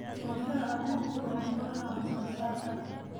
Xulashada abuurku waa furaha wax-soo-saarka.